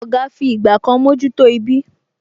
Oga fi ìgbà kan mojuto ibí